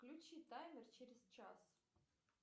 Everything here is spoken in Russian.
включи таймер через час